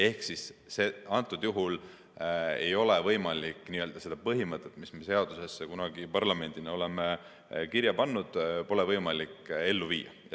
Ehk siis antud juhul ei ole võimalik seda põhimõtet, mis meie seadusesse kunagi parlamendina oleme kirja pannud, ellu viia.